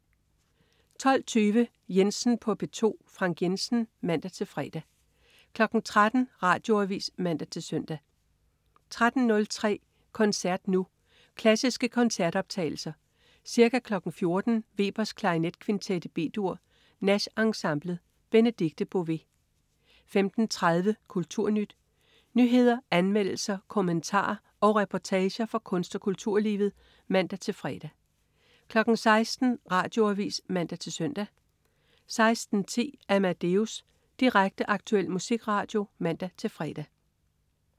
12.20 Jensen på P2. Frank Jensen (man-fre) 13.00 Radioavis (man-søn) 13.03 Koncert Nu. Klassiske koncertoptagelser. Ca. 14.00 Webers Klarinetkvintet B-dur. Nash Ensemblet. Benedikte Bové 15.30 KulturNyt. Nyheder, anmeldelser, kommentarer og reportager fra kunst- og kulturlivet (man-fre) 16.00 Radioavis (man-søn) 16.10 Amadeus. Direkte, aktuel musikradio (man-fre)